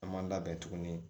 An m'an labɛn tuguni